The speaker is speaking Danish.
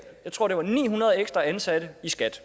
jeg tror det var ni hundrede ekstra ansatte i skat